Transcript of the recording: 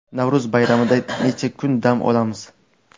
Navro‘z bayramida necha kun dam olamiz?.